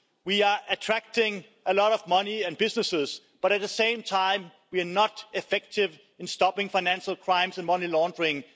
We are attracting a lot of money and business, but at the same time, we are not effective in stopping financial crimes and money laundering.